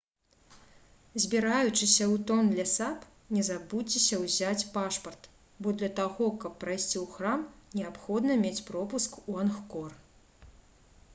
збіраючыся ў тонле сап не забудзьцеся ўзяць пашпарт бо для таго каб прайсці ў храм неабходна мець пропуск у ангкор